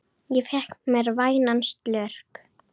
Ég fékk mér vænan slurk.